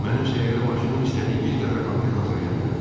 Mənim sehrli maşınım istədiyimiz qədər konfet hazırlaya bilər.